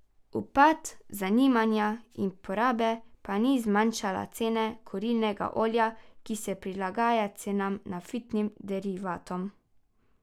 Upad zanimanja in porabe pa ni zmanjšal cene kurilnega olja, ki se prilagaja cenam naftnih derivatom.